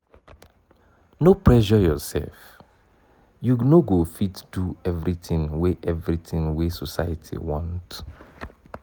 no pressure yoursef you no go fit do everytin wey everytin wey society want.